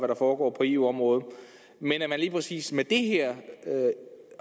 der foregår på eu området men lige præcis med det her